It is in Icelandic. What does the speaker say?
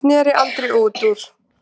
sneri Andri út úr.